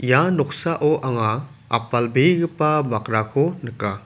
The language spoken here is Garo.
ia noksao anga apalbegipa bakrako nika.